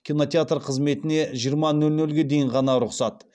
кинотеатр қызметіне жиырма нөл нөлге дейін ғана рұқсат